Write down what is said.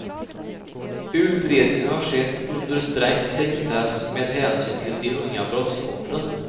Utredningen har skett under sträng sekretess med hänsyn till de unga brottsoffren.